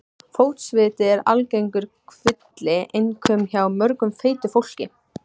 Fótsviti eru algengur kvilli, einkum hjá mjög feitu fólki.